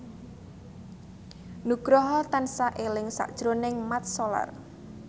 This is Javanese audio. Nugroho tansah eling sakjroning Mat Solar